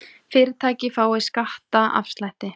Fyrirtæki fái skattaafslætti